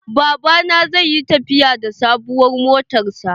Baba na zai yi tafiya da sabuwar motan sa